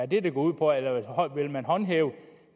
det det går ud på eller vil man håndhæve